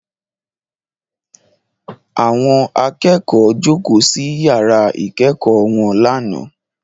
Àwọn akẹ́kọ̀ọ́ jókòó sí yàrá ìkẹ́kọ̀ọ́ wọn lánàá